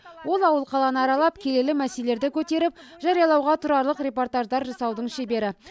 ол ауыл қаланы аралап келелі мәселелерді көтеріп жариялауға тұрарлық репортаждар жасаудың шебері